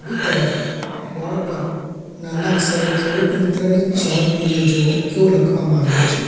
બે તરફ બોર્ડ પર નાના અક્ષરે ખેડૂત મિત્રની ચા પીને જુઓ એવું લખવામાં આવ્યું છે.